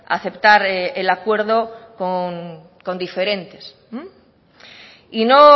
aceptar el acuerdo con diferentes y no